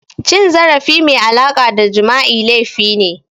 Cin zarafi mai alaƙa da Jima'i laifi ne